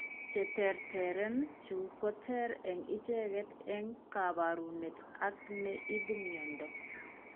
Che terteren chu ko teer eng' icheket eng' kaabarunet ak ne ibu mnyando.